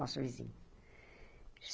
Nosso vizinho.